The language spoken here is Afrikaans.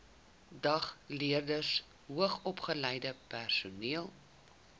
dagleerders hoogsopgeleide personeel